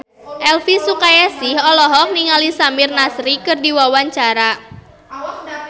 Elvi Sukaesih olohok ningali Samir Nasri keur diwawancara